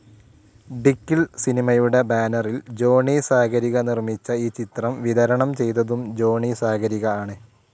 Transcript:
ഡിക്കിൾ സിനിമയുടെ ബാനറിൽ ജോണി സാഗരിക നിർമിച്ച ഈ ചിത്രം വിതരണം ചെയ്തതും ജോണി സാഗരിക ആണ്.